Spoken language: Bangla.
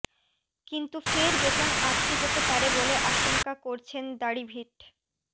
কিন্তু ফের বেতন আটকে যেতে পারে বলে আশঙ্কা করছেন দাড়িভিট